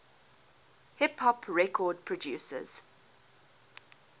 hip hop record producers